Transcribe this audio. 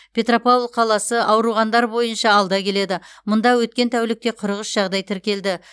петропавл қаласы ауырғандар бойынша алда келеді мұнда өткен тәулікте қырық үш жағдай тіркелді